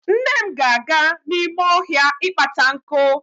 Nne m ga-aga n'ime ohia ịkpata nkụ.